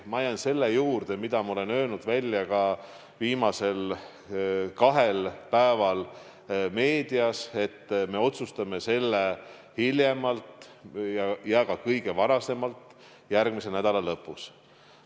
Ma jään selle juurde, mida ma olen välja öelnud viimasel kahel päeval meedias: me otsustame selle hiljemalt ja ka kõige varem järgmise nädala lõpus.